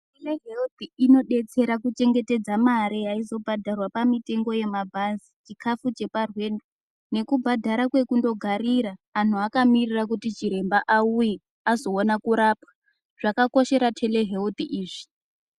TeLeheuthi inodetsera kuchengetedza mare yaizobhadharwa mutengo yemanhazi chikafu cheparwendo nekubhadhara kwekunfogarira antu akamirira kuti chiremba auye azoona kurapwa zvakakoshera tele heuthi izvi.